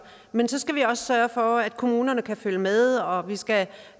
men så skal vi også sørge for at kommunerne kan følge med og vi skal